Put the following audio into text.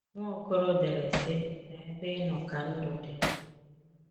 Nwaokolo dere sị: n'ebe inọ ka ndụ di